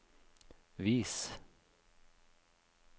vis